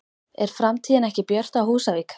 Er framtíðin ekki björt á Húsavík?